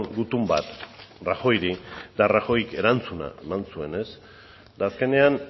gutun bat rajoyri eta rajoyk erantzuna eman zuen ez eta azkenean